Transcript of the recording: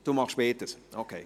– Sie machen beides, okay.